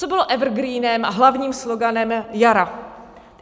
Co bylo evergreenem a hlavním sloganem jara?